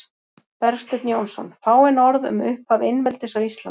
Bergsteinn Jónsson: Fáein orð um upphaf einveldis á Íslandi